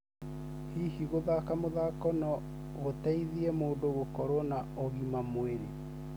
Hihi gũthaka mũthako no gũteithie mũndũ gũkorwo na agima mwĩrĩ?